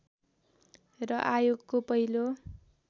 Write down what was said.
र आयोगको पहिलो